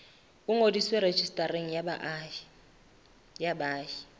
o ngodiswe rejistareng ya baahi